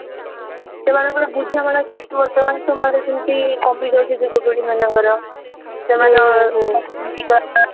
ସେମାନଙ୍କର ବୁଝାବଣା ଶକ୍ତି ବର୍ତ୍ତମାନ ସମୟରେ ଯେମିତି କମିଯାଉଛି ଯୁବପିଢୀ ମାନଙ୍କର